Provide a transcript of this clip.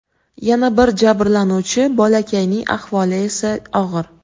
Yana bir jabrlanuvchi bolakayning ahvoli esa og‘ir.